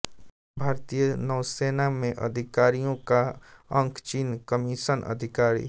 भारतीय नौसेना में अधिकारियों का अंक चिह्न कमीशन अधिकारी